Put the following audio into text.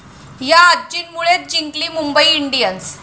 या' आजींमुळेच जिंकली मुंबई इंडियन्स?